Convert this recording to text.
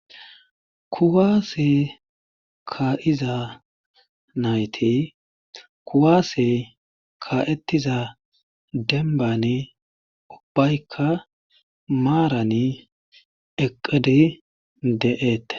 kuwaase ka7iza nayti kuwaase ka7etiza denbani ubbaykka maarani eqqidi de7eette